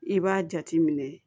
I b'a jate minɛ